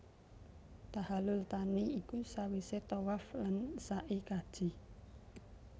Tahallul thani iku sawise tawaf lan sai kaji